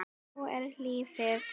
Svona er lífið!